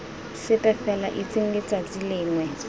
sepe fela itseng letsatsi lengwe